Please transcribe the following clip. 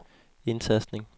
indtastning